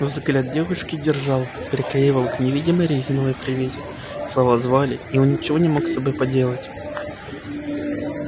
взгляд девушки держал приклеивал к невидимой резиновой привязи слова звали и он ничего не мог с собой поделать